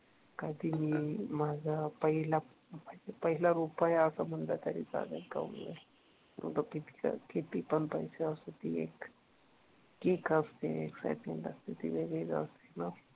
कधी मी माझा पहिला म्हणजे पहिला रुपया असं म्हटलं तरी चालेल, मग तो किती पण पैसे असू दे ती एक किक असते एक्साइटमेन्ट असते ती वेगळीच असते ना